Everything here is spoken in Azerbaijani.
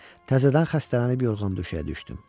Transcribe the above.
Təzədən xəstələnib yorğun döşəyə düşdüm.